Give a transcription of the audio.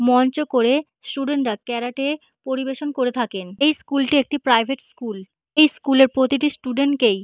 মঞ্চ করে স্টুডেন্ট -রা ক্যারাটে পরিবেশন করে থাকেন। এই স্কুল -টি একটি প্রাইভেট স্কুল । এই স্কুল -এ প্রতিটি স্টুডেন্ট কেই--